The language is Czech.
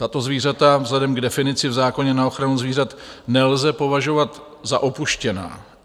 Tato zvířata vzhledem k definici v zákoně na ochranu zvířat nelze považovat za opuštěná.